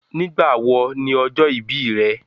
Nígbà wọ̀ ní ọjọ́ ìbí rẹ̀?